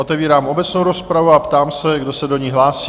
Otevírám obecnou rozpravu a ptám se, kdo se do ní hlásí?